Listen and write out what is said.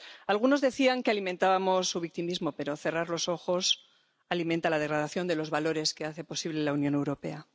Algunos decían que alimentábamos su victimismo, pero cerrar los ojos alimenta la degradación de los valores que hacen posible la Unión Europea.